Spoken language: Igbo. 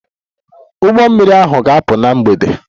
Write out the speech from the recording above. Ụgbọ mmiri ahụ ga-apụ na mgbede.